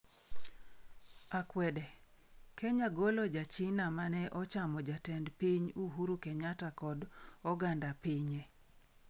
Akwede: Kenya golo ja China mane ochamo Jatend pinyno Uhuru Kenyatta kod oganda pinye